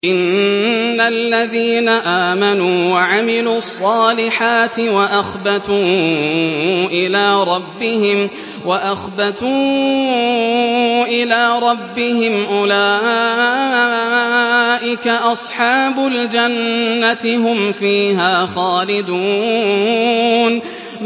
إِنَّ الَّذِينَ آمَنُوا وَعَمِلُوا الصَّالِحَاتِ وَأَخْبَتُوا إِلَىٰ رَبِّهِمْ أُولَٰئِكَ أَصْحَابُ الْجَنَّةِ ۖ هُمْ فِيهَا خَالِدُونَ